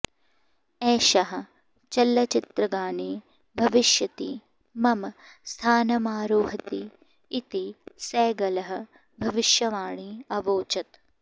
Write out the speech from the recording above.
एषः चलच्चित्रगाने भविष्यति मम स्थानमारोहति इति सैगलः भविष्यवाणी अवोचत्